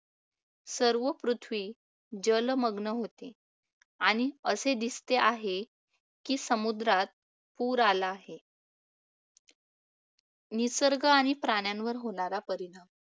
सर्व पृथ्वी जलमग्न होते असतो आणि असे दिसते आहे की समुद्रात पूर आला आहे. आणि प्राण्यांवर होणारा परिणाम